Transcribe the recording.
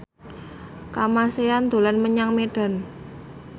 Kamasean dolan menyang Medan